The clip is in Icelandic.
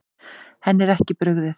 Henni er ekki brugðið.